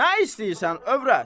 Nə istəyirsən, övrət?